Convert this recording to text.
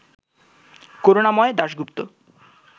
Karunamoy Dasgupta